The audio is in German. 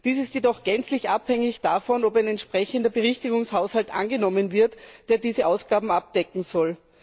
Dies ist jedoch gänzlich abhängig davon, ob ein entsprechender Berichtigungshaushalt angenommen wird, der diese Ausgaben abdecken soll.